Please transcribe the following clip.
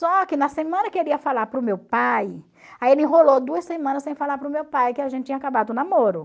Só que na semana que ele ia falar para o meu pai, aí ele enrolou duas semanas sem falar para o meu pai que a gente tinha acabado o namoro.